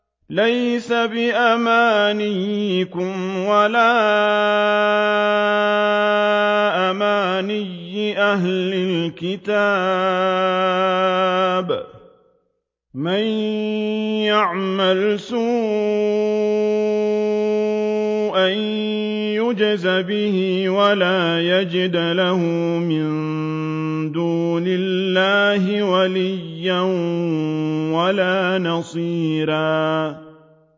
لَّيْسَ بِأَمَانِيِّكُمْ وَلَا أَمَانِيِّ أَهْلِ الْكِتَابِ ۗ مَن يَعْمَلْ سُوءًا يُجْزَ بِهِ وَلَا يَجِدْ لَهُ مِن دُونِ اللَّهِ وَلِيًّا وَلَا نَصِيرًا